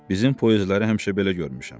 Bizim poyesləri həmişə belə görmüşəm.